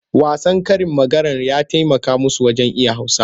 Wasan karin maganar ya taimaka musu wajen iya Hausa.